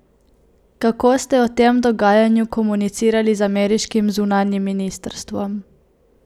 Kako ste o tem dogajanju komunicirali z ameriškim zunanjim ministrstvom?